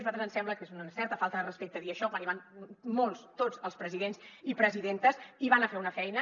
a nosaltres ens sembla que és una certa falta de respecte dir això quan hi van molts tots els presidents i presidentes hi van a fer una feina